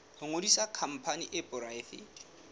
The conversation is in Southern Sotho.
ho ngodisa khampani e poraefete